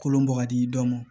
Kolon bɔ ka di dɔnmɔ